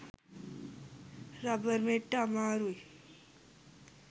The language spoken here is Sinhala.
රබර් මෙට්ට අමාරුයි